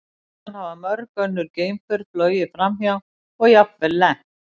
Síðan hafa mörg önnur geimför flogið framhjá og jafnvel lent.